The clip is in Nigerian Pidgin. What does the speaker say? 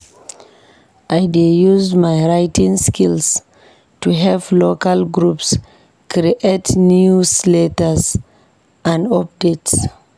I dey use my writing skills to help local groups create newsletters and updates.